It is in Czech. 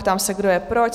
Ptám se, kdo je pro?